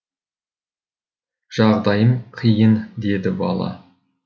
жағдайым қиын деді бала